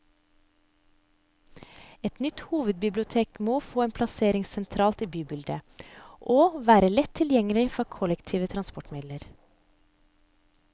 Et nytt hovedbibliotek må få en plassering sentralt i bybildet, og være lett tilgjengelig fra kollektive transportmidler.